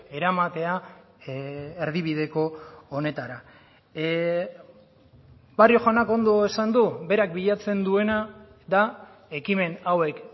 eramatea erdibideko honetara barrio jaunak ondo esan du berak bilatzen duena da ekimen hauek